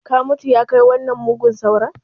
Ka mutu! ya kai wannan mugun sauron